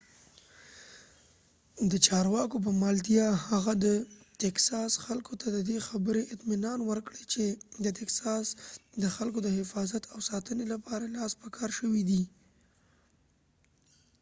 د چارواکو په ملتیا هغه د تکساس خلکو ته ددی خبری اطمینان ورکړ چی د تکساس د خلکو د حفاظت او ساتنی لپاره لاس په کار شوی دی